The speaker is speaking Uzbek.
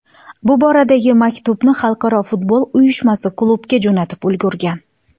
Bu boradagi maktubni Xalqaro futbol uyushmasi klubga jo‘natib ulgurgan.